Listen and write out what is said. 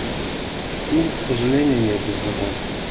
ну к сожалению нет не знаком